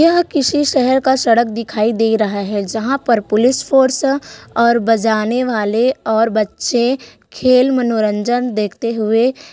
यह किसी शहर का सड़क दिखाई दे रहा है जहाँ पर पुलिस फाॅर्स और बजाने वाले और बच्चे खेल मनोरंजन देखते हुए--